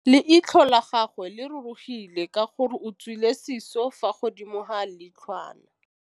Leitlhô la gagwe le rurugile ka gore o tswile sisô fa godimo ga leitlhwana.